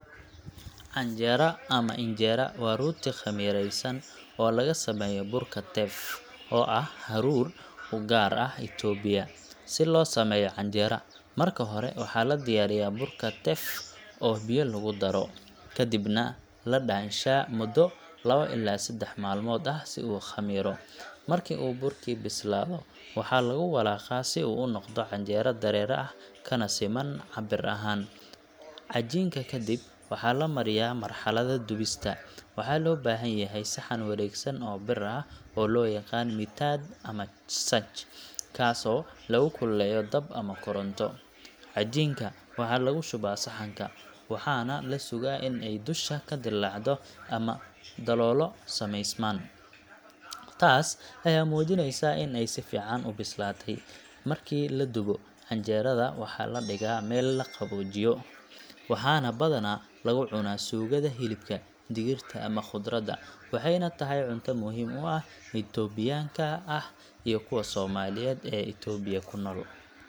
Canjera ama Injera waa rooti khamiiraysan oo laga sameeyo burka teff, oo ah hadhuudh u gaar ah Itoobiya. Si loo sameeyo canjera, marka hore waxaa la diyaariyaa burka teff oo biyo lagu daro, kadibna la dhaanshaa muddo lawo ilaa seddax maalmood ah si uu u khamiiro. Marka uu burkii bislaado, waxaa lagu walaaqaa si uu u noqdo cajiin dareere ah, kana siman cabbir ahaan. Cajiinka kadib, waxa la mariyaa marxaladda dubista. Waxaa loo baahan yahay saxan wareegsan oo bir ah oo loo yaqaan mitaad ama saj, kaasoo lagu kululeeyo dab ama koronto. Cajiinka waxaa lagu shubaa saxanka, waxaana la sugaa in ay dusha ka dillaacdo oo daloolo samaysmaan – taas ayaa muujinaysa in ay si fiican u bislaatay. Markii la dubo, canjera-da waxaa la dhigaa meel la qaboojiyo, waxaana badanaa lagu cunaa suugada hilibka, digirta, ama khudradda – waxayna tahay cunto muhiim u ah dadka Itoobiyaanka ah iyo kuwa Soomaaliyeed ee Itoobiya ku nool.